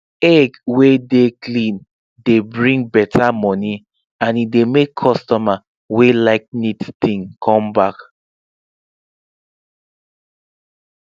egg wey clean dey bring better money and e dey make customer wey like neat thing come back